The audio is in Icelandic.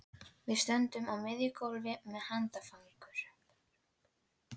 Þetta var að minnsta kosti rangt leikrit í skakkri sviðsmynd.